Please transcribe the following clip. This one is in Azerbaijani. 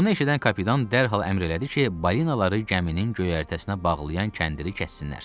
Bunu eşidən kapitan dərhal əmr elədi ki, balinaları gəminin göyərtəsinə bağlayan kəndiri kəssinlər.